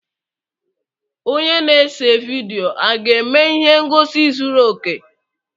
Onye na-ese vidiyo aga-eme ihe ngosi zuru oke?